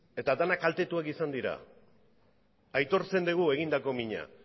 eta denak kaltetuak izan dira aitortzen dugu egindako mina